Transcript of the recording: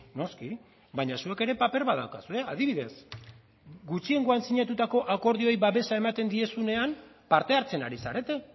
noski baina zuek ere paper bat daukazue adibidez gutxiengoan sinatutako akordioei babesa ematen diezuenean parte hartzen ari zarete